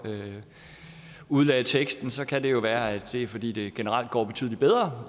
udlagde teksten kan det jo være at det er fordi det generelt går betydelig bedre